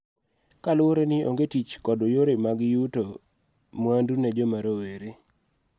Kaluwore ni onge tich kod yore mag yuto mwandu ne joma rowere.